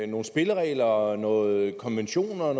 nogle spilleregler og nogle konventioner